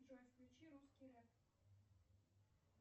джой включи русский рэп